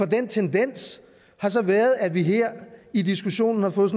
den tendens har så været at vi her i diskussionen har fået